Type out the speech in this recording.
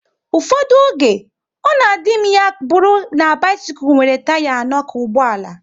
Ụfọdụ oge, ọ na adị m ya bụrụ na bisikul nwere taya anọ ka ụgbọala